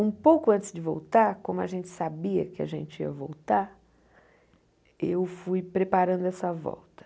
Um pouco antes de voltar, como a gente sabia que a gente ia voltar, eu fui preparando essa volta.